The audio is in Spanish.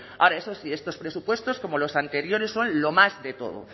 ahora eso sí estos presupuestos como los anteriores son lo más de todo